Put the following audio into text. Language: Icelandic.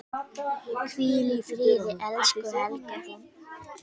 Hvíl í friði, elsku Helga.